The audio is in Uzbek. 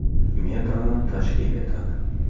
metrni tashkil etadi.